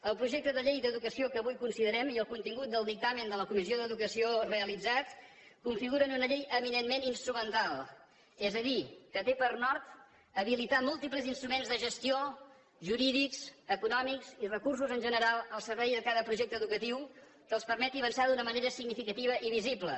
el projecte de llei d’educació que avui considerem i el contingut del dictamen de la comissió d’educació realitzat configuren una llei eminentment instrumental és a dir que té per nord habilitar múltiples instruments de gestió jurídics econòmics i recursos en general al servei de cada projecte educatiu que els permeti avançar d’una manera significativa i visible